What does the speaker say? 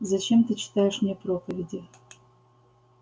зачем ты читаешь мне проповеди